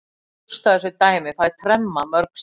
Rústa þessu dæmi, fæ tremma mörg stig.